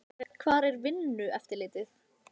Hvar er Vinnueftirlitið?